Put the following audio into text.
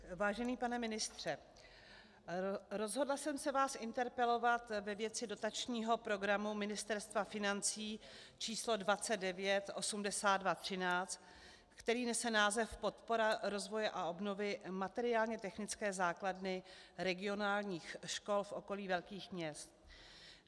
Vážený pane ministře, rozhodla jsem se vás interpelovat ve věci dotačního programu Ministerstva financí č. 298213, který nese název Podpora rozvoje a obnovy materiálně technické základny regionálních škol v okolí velkých měst.